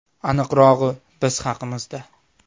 Aniqrog‘i Biz haqimizda.